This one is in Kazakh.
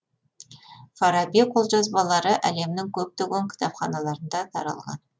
фараби қолжазбалары әлемнің көптеген кітапханаларында таралған